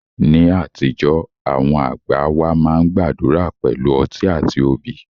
Ní àtijọ́, àwọn àgbà wá máa ń gbàdúrà pẹ̀lú ọtí àti obì